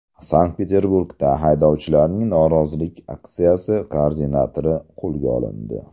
Sankt-Peterburgda haydovchilarning norozilik aksiyasi koordinatori qo‘lga olindi.